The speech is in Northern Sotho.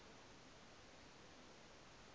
be ke kgahlwa ke go